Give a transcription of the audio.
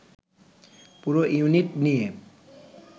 পুরো ইউনিট নিয়ে